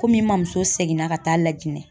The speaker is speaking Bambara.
Komi n ma muso seginna ka taa LAJINƐ.